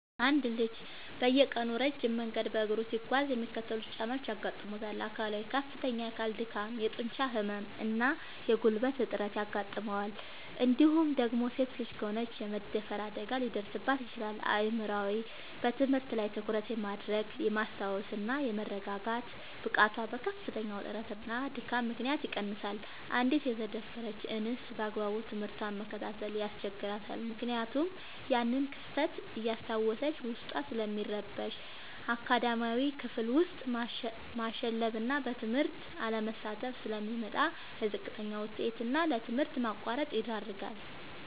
አንድ ልጅ በየቀኑ ረጅም መንገድ በእግሩ ሲጓዝ የሚከተሉት ጫናዎች ያጋጥሙታል፦ አካላዊ፦ ከፍተኛ የአካል ድካም፣ የጡንቻ ህመም እና የጉልበት እጥረት ያጋጥመዋል እንዲሁም ደግሞ ሴት ልጅ ከሆነች የመደፈር አደጋ ሊደርስባት ይችላል። አእምሯዊ፦ በትምህርት ላይ ትኩረት የማድረግ፣ የማስታወስ እና የመረጋጋት ብቃቱ በከፍተኛ ውጥረትና ድካም ምክንያት ይቀንሳል: አንዲት የተደፈረች እንስት ባግባቡ ትምህርቷን መከታተል ያስቸግራታል ምክንያቱም ያንን ክስተት እያስታወሰች ዉስጧ ስለሚረበሽ። አካዳሚያዊ፦ ክፍል ውስጥ ማሸለብና በትምህርቱ አለመሳተፍ ስለሚመጣ: ለዝቅተኛ ውጤት እና ለትምህርት ማቋረጥ ይዳረጋል።